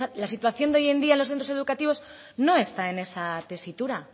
la situación de hoy en día en los centros educativos no está en esa tesitura